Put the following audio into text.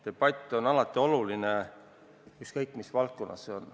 Debatt on alati oluline, ükskõik mis valdkonnas see on.